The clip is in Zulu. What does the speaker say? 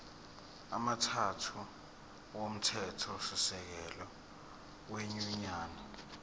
amathathu omthethosisekelo wenyunyane